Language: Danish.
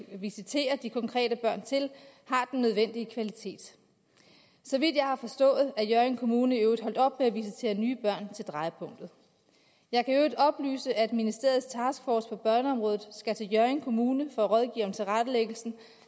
visiterer de konkrete børn til har den nødvendige kvalitet så vidt jeg har forstået er hjørring kommune i øvrigt holdt op med at visitere nye børn til drejepunktet jeg kan i øvrigt oplyse at ministeriets taskforce på børneområdet skal til hjørring kommune for at rådgive om tilrettelæggelsen